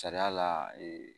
Sariya la